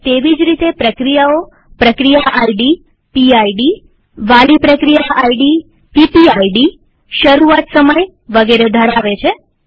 તેવી જ રીતે પ્રક્રિયાઓપ્રક્રિયા આઈડીવાલી પ્રક્રિયા આઈડીશરૂઆત સમયવગેરે ધરાવે છે